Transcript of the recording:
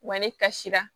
Wa ne kasira